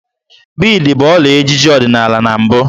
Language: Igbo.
Biidi bụ ọla ejiji ọdịnala na mbụ